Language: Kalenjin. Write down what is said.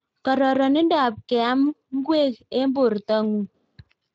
Kararindoop keam ngweek eng portoo nguung